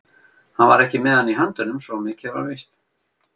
Hann var ekki með hann í höndunum, svo mikið var víst.